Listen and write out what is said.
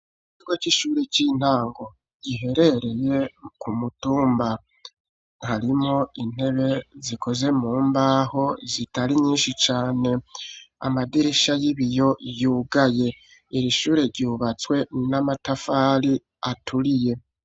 Ikigo c'ishure ry'intango giherereye ku mutumba, harimwo intebe zikozwe mu mbaho zitari nyinshi cane, amadirisha y'ibiyo yugaye, iri shure ryubatswe n'amatafari aturiye.